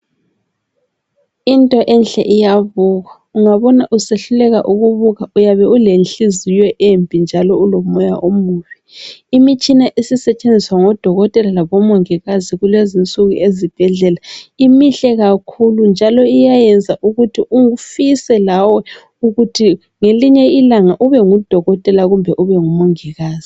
Into enhle iyabukwa ungabona usehluleka ukubuka uyabe ule nhliziyo embi njalo ulomoya omubi imitshina esisetshenziswa ngodokotela labomongikazi kulezonsuku ezibhedlela imihle kakhulu njalo iyayenza ukuthi ufise lawe ukuthi ngelinye ilanga ube ngudokotela kumbe ube ngumongikazi.